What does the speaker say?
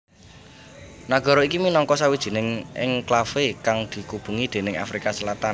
Nagara iki minangka sawijining enklave kang dikubengi déning Afrika Selatan